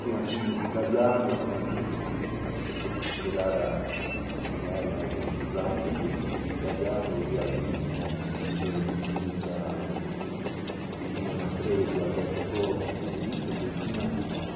Tinha filmes italianos, começando a chegar a chegar a a chegarem às enchurradas dos filmes italianos, o realismo de Vittorio Dizic, Nino Manfredi, Alberto Sorghi, e tudo isso que tinha público.